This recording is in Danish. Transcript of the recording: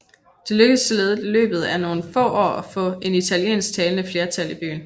Det lykkedes således i løbet af nogle år at få en italiensktalende flertal i byen